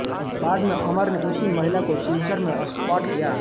बाद में अमर ने उसी महिला को सिलचर में स्पॉट किया